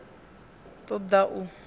ṱ o ḓ a u